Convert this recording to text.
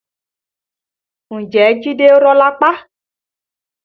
Ǹjẹ́ jide rọ́ lápá?